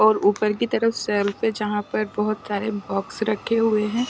और ऊपर की तरफ सेल्फ पे जहां पर बहुत सारे बॉक्स रखे हुए हैं --